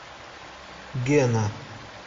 гена